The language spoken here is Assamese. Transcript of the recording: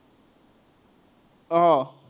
আহ